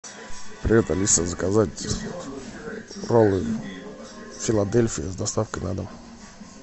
привет алиса заказать роллы филадельфия с доставкой на дом